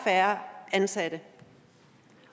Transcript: færre ansatte